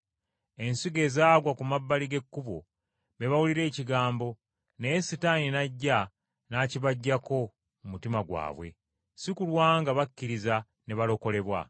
Ensigo ezaagwa ku mabbali g’ekkubo, be bawulira ekigambo, naye Setaani n’ajja n’akibaggyako mu mutima gwabwe, si kulwa nga bakkiriza ne balokolebwa.